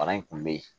Bana in kun be yen